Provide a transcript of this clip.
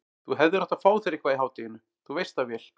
Þú hefðir átt að fá þér eitthvað í hádeginu, þú veist það vel.